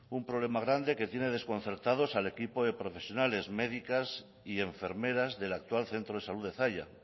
un problema grande que tiene desconcertados al equipo de profesionales médicas y enfermeras del actual centro de salud de zalla